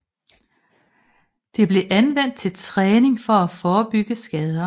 Det blev anvendt til træning for at forebygge skader